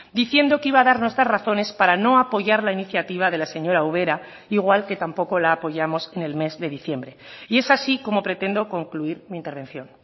diciendo que iba a dar nuestras razones para no apoyar la iniciativa de la señora ubera igual que tampoco la apoyamos en el mes de diciembre y es así como pretendo concluir mi intervención